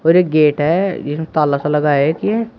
और एक गेट है जिसमे ताला सा लगा है एक--